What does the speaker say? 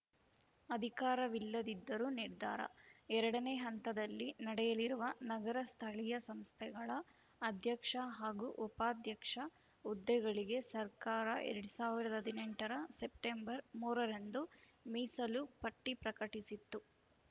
ಅಧಿಕಾರವಿಲ್ಲದಿದ್ದರೂ ನಿರ್ಧಾರ ಎರಡನೇ ಹಂತದಲ್ಲಿ ನಡೆಯಲಿರುವ ನಗರ ಸ್ಥಳೀಯ ಸಂಸ್ಥೆಗಳ ಅಧ್ಯಕ್ಷ ಹಾಗೂ ಉಪಾಧ್ಯಕ್ಷ ಹುದ್ದೆಗಳಿಗೆ ಸರ್ಕಾರ ಎರಡ್ ಸಾವಿರದ ಹದಿನೆಂಟ ರ ಸೆಪ್ಟೆಂಬರ್ ಮೂರ ರಂದು ಮೀಸಲು ಪಟ್ಟಿಪ್ರಕಟಿಸಿತ್ತು